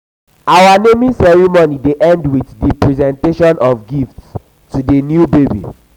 our naming ceremony dey end with um di presentation of gifts to di new baby.